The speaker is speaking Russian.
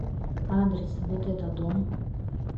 адрес вотэтодом